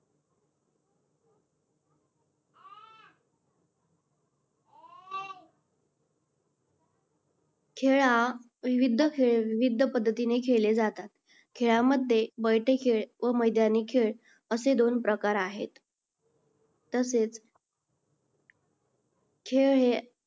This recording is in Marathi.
खेळ हा विविध विविध पद्धतीने खेळले जातात. खेळामध्ये बैठे खेळ व मैदानी खेळ असे दोन प्रकार आहेत. तसेच खेळ हे